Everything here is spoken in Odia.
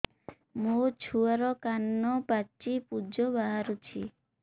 ମୋ ଛୁଆର କାନ ପାଚି ପୁଜ ବାହାରୁଛି